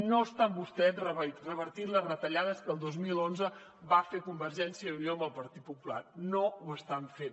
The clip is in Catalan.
no estan vostès revertint les retallades que el dos mil onze va fer convergència i unió amb el partit popular no ho estan fent